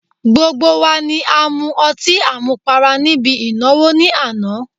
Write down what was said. Gbogbo wa ni a mu ọtí à mu para níbi ìnáwó ní àná